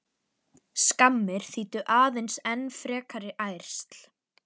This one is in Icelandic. Skammir þýddu aðeins enn frekari ærsl.